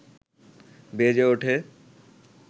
বেজে ওঠে